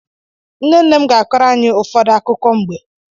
Nne nne m ga-akọrọ anyị ụfọdụ akụkọ mgbe.